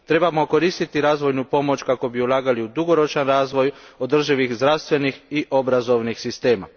Trebamo koristiti razvojnu pomoć kako bismo ulagali u dugoročni razvoj održivih zdravstvenih i obrazovnih sistema.